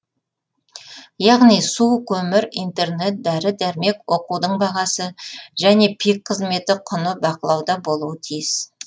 яғни су көмір интернет дәрі дәрмек оқудың бағасы және пик қызметі құны бақылауда болуы тиіс